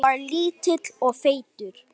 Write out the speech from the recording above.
Ég var lítill og feitur.